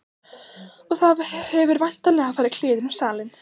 Og það hefur væntanlega farið kliður um salinn.